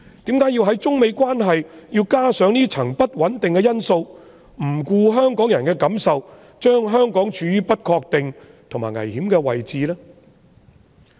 為何要在中美關係上增添這項不穩定因素，不顧香港人的感受，把香港處於不確定和危險的位置呢？